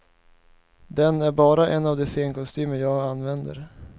Den är bara en av de scenkostymer jag använder.